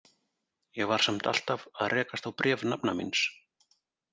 Ég var samt alltaf að rekast á bréf nafna míns.